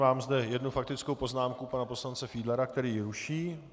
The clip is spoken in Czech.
Mám zde jednu faktickou poznámku pana poslance Fiedlera, který ji ruší.